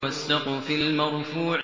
وَالسَّقْفِ الْمَرْفُوعِ